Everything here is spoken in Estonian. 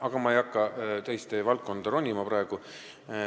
Aga ma ei hakka teiste valdkonda ronima.